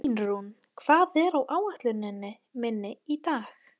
Einrún, hvað er á áætluninni minni í dag?